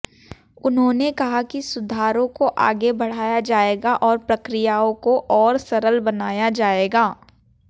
उन्होंने कहा कि सुधारों को आगे बढ़ाया जाएगा और प्रक्रियाओं को और सरल बनाया जाएगा